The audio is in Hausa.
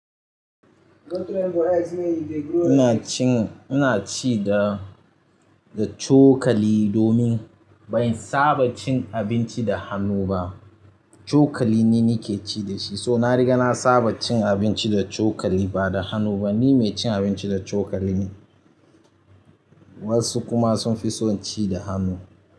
Inacin inaci da da cokali domin bansaba cin abinci da hannu ba cokali ni nake ci dashi domin so nariga na saba cin abinci da cokali bada hannu bane ni mai cin abinci da cokali ne wasu kuma sunfi son ci da hannu.